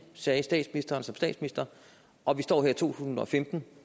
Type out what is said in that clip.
sagde statsministeren og vi står her i to tusind og femten